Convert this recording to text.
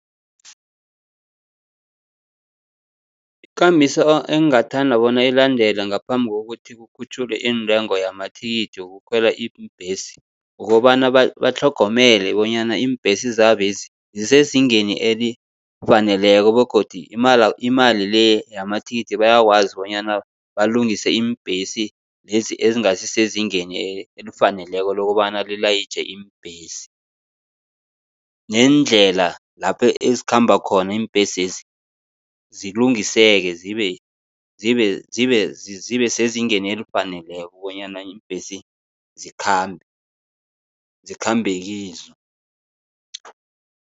Ikambiso engingathanda bona ilandelwe, ngaphambi kokuthi kukhutjhulwe iintengo yamathikithi wokukhwela iimbhesi, kukobana batlhogomele bonyana iimbhesi zabo lezi zisezingeni elifaneleko begodu imali le yamathikithi bayakwazi bonyana balungise iimbhesi lezi ezingasi sezingeni elifaneleko lokobana lilayitjhe iimbhesi. Neendlela lapho ezikhamba khona iimbhesezi zilungiseke, zibe, zibe, zibe, zibe sezingeni elifaneleko bonyana iimbhesi zikhambe, zikhambe kizo.